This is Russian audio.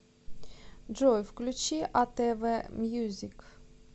джой включи а тэ вэ мьюзик